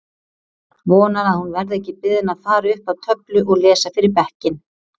Vonar að hún verði ekki beðin að fara upp að töflu og lesa fyrir bekkinn!